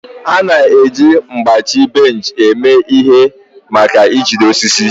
A na-eji mgbachi bench eme ihe maka ijide osisi.